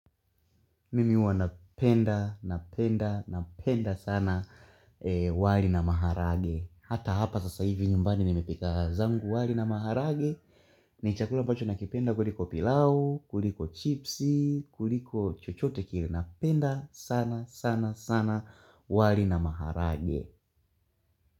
Mimi huwa napenda, napenda, napenda sana wali na maharage. Hata hapa sasa hivi nyumbani nimepika zangu wali na maharage. Ni chakula ambacho nakipenda kuliko pilau, kuliko chipsi, kuliko chochote kile napenda sana sana sana wali na maharage.